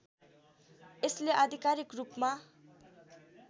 यसले आधिकारिक रूपमा